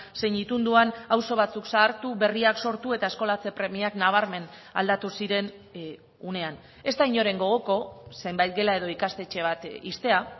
zein itunduan auzo batzuk zahartu berriak sortu eta eskolatze premiak nabarmen aldatu ziren unean ez da inoren gogoko zenbait gela edo ikastetxe bat ixtea